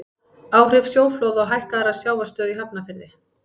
áhrif sjóflóða og hækkaðrar sjávarstöðu í hafnarfirði